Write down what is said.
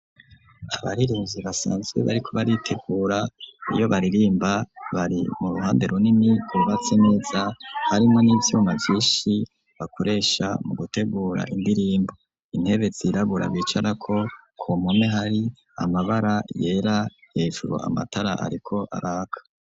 Abaririmvyi basanzwe bariko baritegura iyo baririmba bari mu ruhande runini Rwubatse neza harimo n'ivyuma vyinshi bakoresha mu gutegura indirimbo intebe zirabura bicara ko kumpome hari amabara yera hefuro amatara ariko araka.